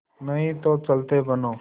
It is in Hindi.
नहीं तो चलते बनो